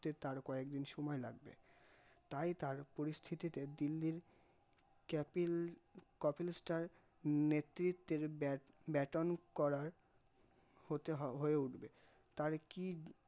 তে তার কয়েক দিন সময় লাগবে, তাই তার পরিস্থিতিতে দিল্লির ক্যাপিল কপিল স্যার নেতৃত্ব bat on করা হতে হয়ে উঠবে, তার কি